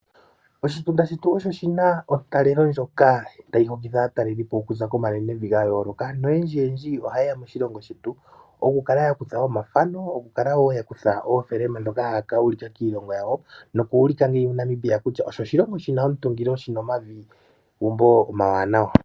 Oshitunda shetu osho shi na ontalelo ndjoka tayi hokitha aatalelelipo okuza komanenevi ga yooloka noyendjiyendji ohaye ya moshilongo shetu okukala ya kutha omafano, okukala woo ya kutha oofilima ndhoka haya ka ulika kiilongo yawo noku ulika nee Namibia kutya osho oshilongo shi na omutungilo, shi na omavi nomagumbo omawanawa.